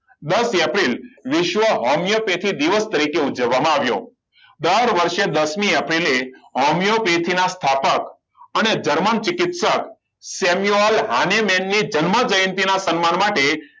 દસ એપ્રિલ વિશ્વ હોમિયોપેથિક દિવસ તરીકે ઉજવવામાં આવ્યો દર વર્ષે દસ મી એપ્રિલે હોમિયોપેથિકના સ્થાપક અને જર્મન ચિકિત્સક સેમ્યુઅલ હાનીમેનની જન્મજયંતી ના સન્માન માટે